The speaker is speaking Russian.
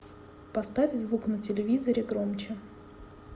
поставь звук на телевизоре громче